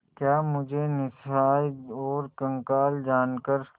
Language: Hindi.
क्या मुझे निस्सहाय और कंगाल जानकर